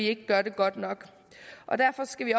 ikke gør det godt nok derfor skal vi